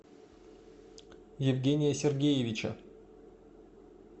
евгения сергеевича